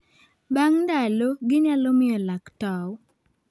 Bang' ndalo, ginyalo miyo lak tow